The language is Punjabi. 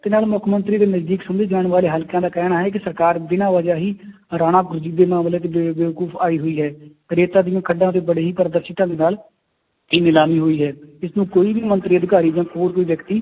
ਜਿੰਨਾਂ ਨੂੰ ਮੁੱਖ ਮੰਤਰੀ ਦੇ ਨਜ਼ਦੀਕ ਸਮਝੇ ਜਾਣ ਵਾਲੇ ਹਲਕਿਆਂ ਦਾ ਕਹਿਣਾ ਹੈ ਕਿ ਸਰਕਾਰ ਬਿਨਾਂ ਵਜ੍ਹਾ ਹੀ ਆਈ ਹੋਈ ਹੈ, ਰੇਤਾ ਦੀਆਂ ਖੱਡਾਂ 'ਚ ਬੜੀ ਹੀ ਦੇ ਨਾਲ ਇਹ ਨਿਲਾਮੀ ਹੋਈ ਹੈ, ਇਸਨੂੰ ਕੋਈ ਵੀ ਮੰਤਰੀ ਅਧਿਕਾਰੀ ਜਾਂ ਹੋਰ ਕੋਈ ਵਿਅਕਤੀ